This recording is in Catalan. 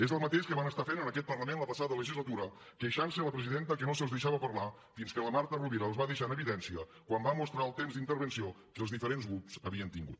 és el mateix que van estar fent en aquest parlament la passada legislatura queixant se a la presidenta que no se’ls deixava parlar fins que la marta rovira els va deixar en evidència quan va mostrar el temps d’intervenció que els diferents grups havien tingut